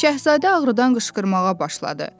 Şahzadə ağrıdan qışqırmağa başladı.